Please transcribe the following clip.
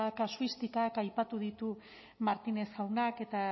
kasuistikak aipatu ditu martínez jaunak eta